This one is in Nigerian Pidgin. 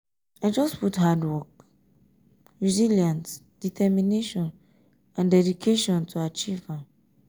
i just put hard um work resilience determination and dedication to achieve am.